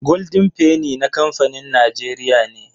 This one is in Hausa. Golden penny na kamfanin Najeriya ne